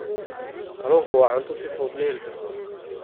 Kalluunku waa cunto si fudud loo heli karo.